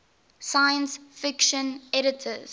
science fiction editors